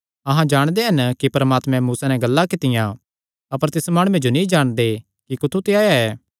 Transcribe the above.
अहां जाणदे हन कि परमात्मैं मूसा नैं गल्लां कित्तियां अपर तिस माणुये जो नीं जाणदे कि कुत्थू ते आया ऐ